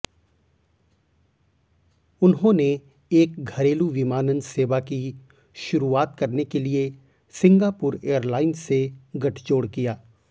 उन्होंने एक घरेलू विमानन सेवा की शुरुआत करने के लिए सिंगापुर एयरलाइंस से गठजोड़ किया